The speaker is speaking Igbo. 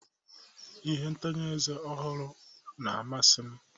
Ihe ntanye eze ọhụrụ na-amasị m